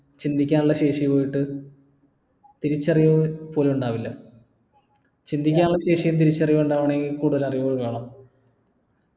ചിന്തിക്കാനുള്ള ശേഷി പോയിട്ട് തിരിച്ചറിവ് പോലും ഉണ്ടാവില്ല ചിന്തിക്കാനുള്ള ശേഷിയും തിരിച്ചറിവും ഇണ്ടാവണമെങ്കിൽ കൂടുതൽ അറിവുകൾ വേണം